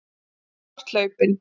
Þú ert hlaupinn.